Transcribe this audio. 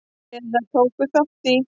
eða tóku þátt í.